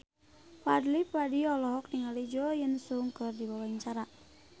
Fadly Padi olohok ningali Jo In Sung keur diwawancara